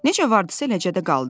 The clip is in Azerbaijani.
Necə vardısa eləcə də qaldı.